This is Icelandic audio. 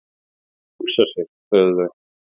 """Hugsa sér, sögðu þau."""